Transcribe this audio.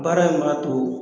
Baara in b'a to